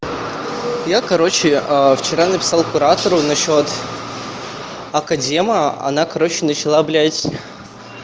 я короче а вчера написал куратору насчёт академа она короче начала блять